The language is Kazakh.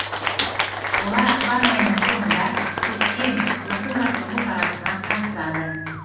олар ақпан айының соңында көктем оқу жаттығу шарасына қатысады